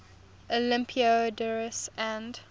olympiodoros and